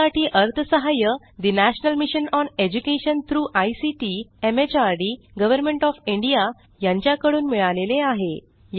यासाठी अर्थसहाय्य national mission on education through ICT MHRD government of India यांच्याकडून मिळालेले आहे